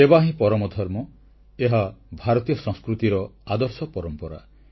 ସେବା ହିଁ ପରମ ଧର୍ମ ଏହା ଭାରତୀୟ ସଂସ୍କୃତିର ଆଦର୍ଶ ପରମ୍ପରା